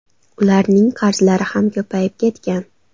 Ularning qarzlari ham ko‘payib ketgan.